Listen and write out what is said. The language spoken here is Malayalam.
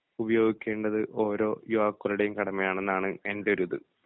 ഉപയോഗിക്കേണ്ടത് ഓരോ യുവാക്കളുടെയും കടമയാണെന്നാണ് എൻ്റെ ഒരു ഇത്